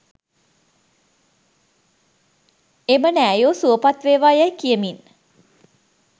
එම නෑයෝ සුවපත් වේවා යැයි කියමින්,